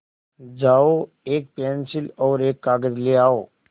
जाओ एक पेन्सिल और कागज़ ले आओ